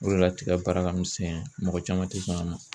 O de la tigɛ baara ka misɛn , mɔgɔ caman tɛ sɔn a ma.